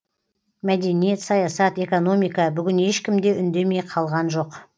мәдениет саясат экономика бүгін ешкім де үндемей қалған жоқ